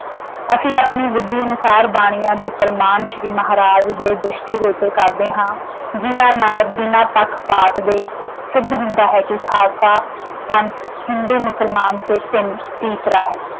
ਅਸੀਂ ਆਪਣੀ ਬੁੱਧੀ ਅਨੁਸਾਰ ਬਾਣੀਆਂ ਦੇ ਪ੍ਰਮਾਣ ਸ਼੍ਰੀ ਮਹਾਰਾਜ ਦੇ ਦ੍ਰਿਸ਼ਟੀ ਗੋਚਰ ਕਰਦੇ ਹਾਂ ਜਿਹਨਾਂ ਨਾਲ ਬਿਨਾਂ ਪੱਖਪਾਤ ਦੇ ਸਿੱਧ ਹੁੰਦਾ ਹੁੰਦਾ ਹੈ ਕਿ ਖਾਲਸਾ ਪੰਥ ਹਿੰਦੂ, ਮੁਸਲਮਾਨ ਸੇ ਭਿੰਨ ਤੀਸਰਾ ਹੈ।